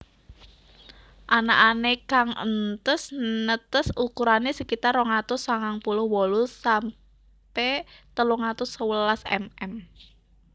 Anakané kang entes netes ukurané sekitar rong atus sangang puluh wolu sampe telung atus sewelas mm